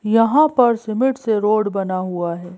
यहां पर सिमेंट से रोड बना हुआ है।